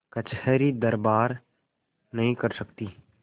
कचहरीदरबार नहीं कर सकती